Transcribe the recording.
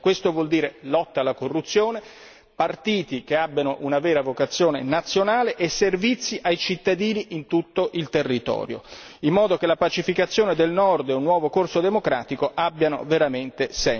Questo vuol dire lotta alla corruzione, partiti che abbiano una vera vocazione nazionale e servizi ai cittadini in tutto il territorio, in modo che la pacificazione del nord e un nuovo corso democratico abbiano veramente senso.